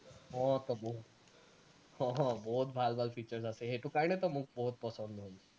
অ , অ বহুত ভাল ভাল features আছে সেইটো কাৰণেতো মোক বহুত পছন্দ হল